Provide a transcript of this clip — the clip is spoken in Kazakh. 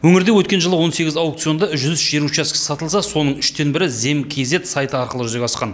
өңірде өткен жылы он сегіз аукционда жүз үш жер учаскесі сатылса соның үштен бірі зем кизед сайты арқылы жүзеге асқан